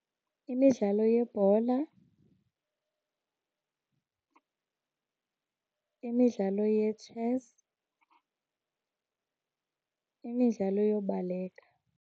Imidlalo yebhola, imidlalo yetshesi, imidlalo yobalekela.